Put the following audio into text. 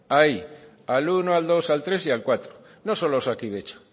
ahí al primero al segundo al tercero y al cuarto no solo a osakidetza